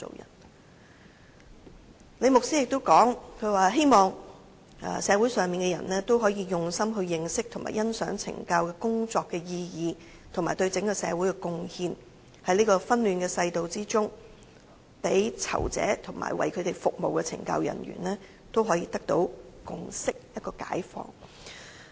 "最後，李牧師又指出，希望社會人士可以用心認識和欣賞懲教工作的意義及對整個社會的貢獻，在這個紛亂的世道中，讓囚者及為他們服務的懲教人員得到共識和解放。